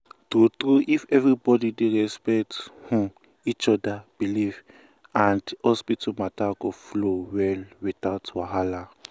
true true if everybody dey respect um each other belief um and um hospital matter go flow well without wahala.